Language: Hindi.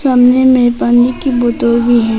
सामने में पानी की बोतल भी है।